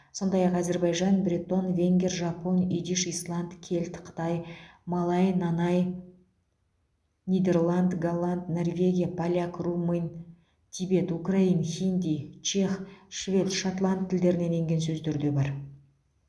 сондай ақ әзербайжан бретон венгер жапон идиш исланд кельт қытай малай нанай нидерланд голланд норвегия поляк румын тибет украин хинди чех швед шотланд тілдерінен енген сөздер де бар